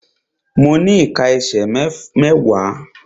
Mo ní ìká ẹsẹ̀ mẹ́wàá.